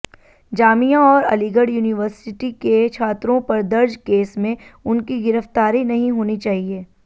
जामिया और अलीगढ़ यूनिवर्सिटी के छात्रों पर दर्ज केस में उनकी गिरफ्तारी नहीं होनी चाहिए